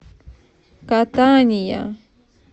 катания